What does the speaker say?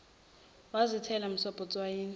wazithela msobho etswayini